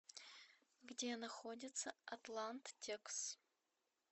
где находится атлант текс